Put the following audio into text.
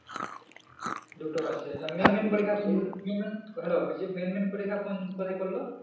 দুটো বাকি আছে hello বলছি management পরিক্ষা কোন তৈরী করলো?